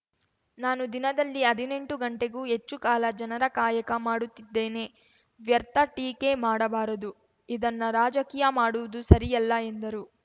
ನಾನು ದಿನದಲ್ಲಿ ಹದಿನೆಂಟು ಗಂಟೆಗೂ ಹೆಚ್ಚು ಕಾಲ ಜನರ ಕಾಯಕ ಮಾಡುತ್ತಿದ್ದೇನೆ ವ್ಯರ್ಥ ಟೀಕೆ ಮಾಡಬಾರದು ಇದನ್ನ ರಾಜಕೀಯ ಮಾಡುವುದು ಸರಿಯಲ್ಲ ಎಂದರು